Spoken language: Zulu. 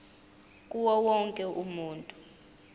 kuwo wonke umuntu